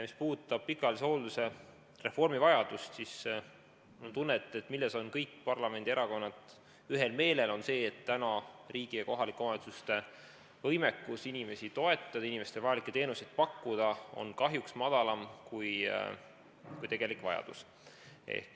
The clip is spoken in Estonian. Mis puudutab pikaajalise hoolduse reformi vajadust, siis mul on tunne, et kõik parlamendierakonnad on ühel meelel selles, et riigi ja kohalike omavalitsuste võimekus inimesi toetada ja inimestele vajalikke teenuseid pakkuda on kahjuks väiksem kui tegelik vajadus.